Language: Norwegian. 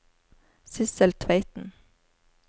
Sissel Tveiten